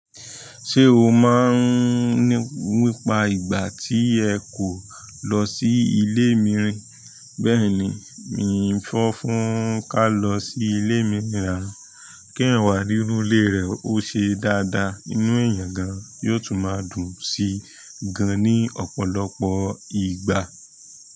Ṣé o máa ń ní ipa ìgbà tí ẹ kọ̀ lọ sí ilé mìíràn? Bẹ́ẹ̀ni, mi ò fọ́n fún ká lọ sí ilé mìíràn. Kí ẹ̀yàn wa nínú ilé rẹ ó ṣe dáadáa, inú ẹ̀yàn gan yóò tún máa dùn sí gan-an ní ọ̀pọ̀lọpọ̀ ìgbà.